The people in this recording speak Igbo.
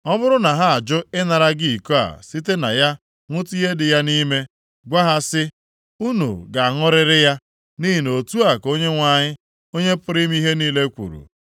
Ọ bụrụ na ha ajụ ịnara gị iko a site na ya ṅụtụ ihe dị ya nʼime, gwa ha sị, ‘Unu ga-aṅụrịrị ya, nʼihi na otu a ka Onyenwe anyị, Onye pụrụ ime ihe niile kwuru.